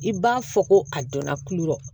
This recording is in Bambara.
I b'a fɔ ko a dɔnna kuli yɔrɔ